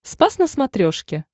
спас на смотрешке